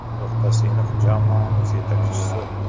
To‘xtasinov jamoamiz yetakchisi.